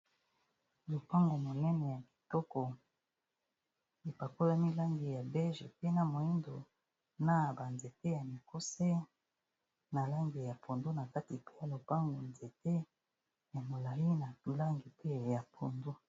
Lopango monene ya kitoko epakolami langi ya bege, pe na moyindo, na ba nzete ya mikuse na langi ya pondu, na kati pe na lopango nzete ya molayi na langi pe ya pondu.